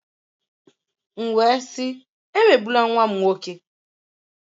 M wee m sị, emegbula nwa m nwoke!